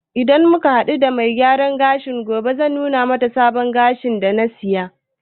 Idan mun hadu da mai gyaran gashi na gobe, zan nuna mata sabon gashin da na siya